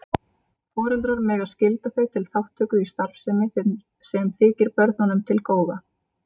Foreldrar mega skylda þau til þátttöku í starfsemi sem þykir börnunum til góða.